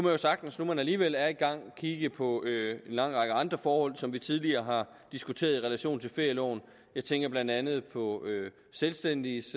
jo sagtens nu man alligevel er i gang kigge på en lang række andre forhold som vi tidligere har diskuteret i relation til ferieloven jeg tænker blandt andet på selvstændiges